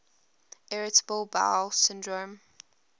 irritable bowel syndrome